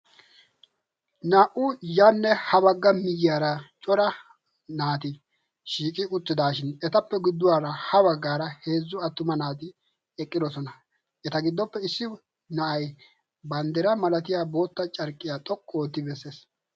Naa"u yanne ha baagga miyiyaara cora naati shiiqi uttidaashin etappe gidduwaara ha baggaara heezzu attuma naati eqqidososna. Eta giddoppe issi na'ay banddira malatiya bootta carqqiya xoqqu ootti bessees.